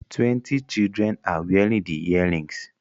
Twenty cildren are wearing the earrings